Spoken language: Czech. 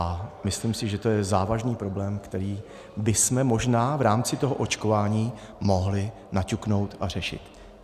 A myslím si, že to je závažný problém, který bychom možná v rámci toho očkování mohli naťuknout a řešit.